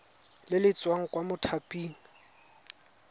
le le tswang kwa mothaping